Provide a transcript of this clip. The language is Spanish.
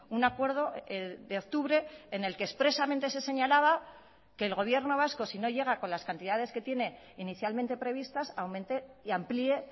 un acuerdo de octubre en el que expresamente se señalaba que el gobierno vasco si no llega con las cantidades que tiene inicialmente previstas aumente y amplíe